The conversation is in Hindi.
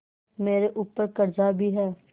मेरे ऊपर कर्जा भी है